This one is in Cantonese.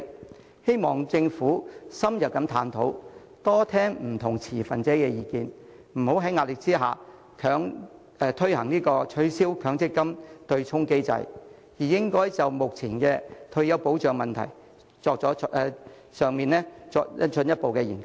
我希望政府深入探討，多聽不同持份者的意見，不要在壓力下取消強積金對沖機制，而應就目前的退休保障問題作進一步研究。